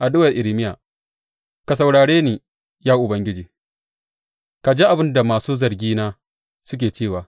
Addu’ar Irmiya Ka saurare ni, ya Ubangiji ka ji abin da masu zargina suke cewa!